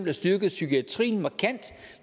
har styrket psykiatrien markant